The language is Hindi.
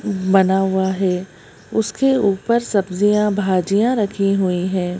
बना हुआ है उसके ऊपर सब्जियां भाजियां रखी हुई हैं।